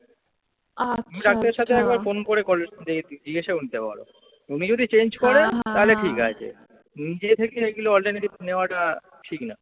ডাক্তারের সাথে একবার phone করে জিজ্ঞেসা করে নিতে পারো। উনি যদি change করেন তাহলে ঠিক আছে। নিজে থেকে এইগুলো alternative নেওয়াটা ঠিক না।